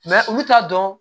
olu t'a dɔn